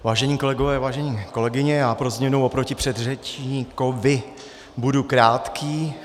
Vážení kolegové, vážené kolegyně, já pro změnu oproti předřečníkovi budu krátký.